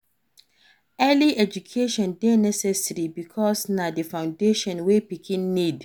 Early education de necessary because na di foundation wey pikin need